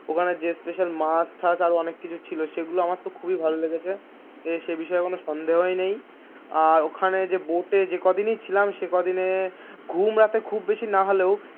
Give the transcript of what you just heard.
ওখানে যে স্পেশাল মাছ ঠাক আরও অনেক কিছু ছিল সেগুলো আমার তহ খুবই ভালো লেগেছে সে বিষয়ে কোনো সন্দেহই নেই আর ওখানের যে বুফে যে কদিনই ছিলাম সে কদিনই ঘুম রাতে খুব বেশি না হলেই,